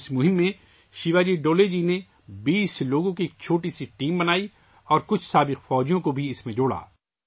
اس مہم میں شیواجی ڈولے جی نے 20 لوگوں کی ایک چھوٹی ٹیم بنائی اور اس میں کچھ سابق فوجیوں کو شامل کیا